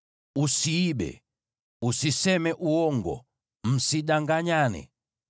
“ ‘Usiibe. “ ‘Usiseme uongo. “ ‘Msidanganyane.